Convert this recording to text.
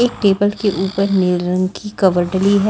एक टेबल के ऊपर नील रंग की कवर डली है।